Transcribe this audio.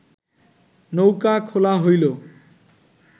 নৌকা খোলা হইল